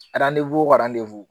o